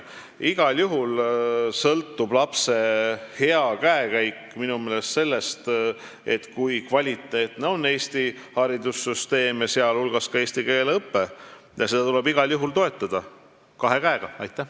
Igal juhul sõltub lapse hea käekäik minu meelest sellest, kui kvaliteetne on Eesti haridussüsteem, sh eesti keele õpe, ja seda tuleb igal juhul kahe käega toetada.